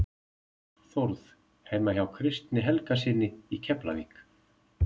Þórð heima hjá Kristjáni Helgasyni í Keflavík.